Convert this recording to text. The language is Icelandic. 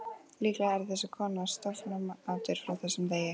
Líklega yrði þessi kona stofnanamatur frá þessum degi.